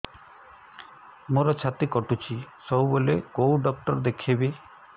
ମୋର ଛାତି କଟୁଛି ସବୁବେଳେ କୋଉ ଡକ୍ଟର ଦେଖେବି